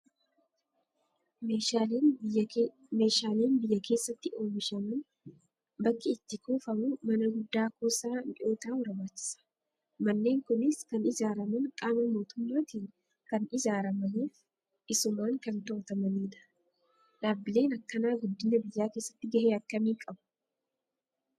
Meeshaaleen biyya keessatti oomishaman bakki itti kuufamu mana guddaa kuusaa mi'ooftaa barbaachisa. Manneen Kunis kan ijaaraman qaama mootummaatiin kan ijaaramaniif isumaan kan to'atamanidha. Dhaabbileen akkanaa guddina biyyaa keessatti gahee akkami qabu?